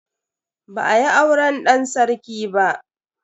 Ba a yi auren dan sarki ba.